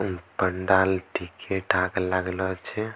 मम पंडाल ठीके-ठाक लागलो छे।